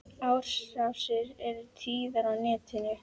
Árásir eru tíðar á netinu.